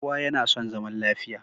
Kowa yana son zaman lafiya.